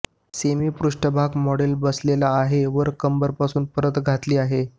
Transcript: सेंमी पृष्ठभाग मॉडेल बसलेला आहे वर कंबर पासून परत घातली आहे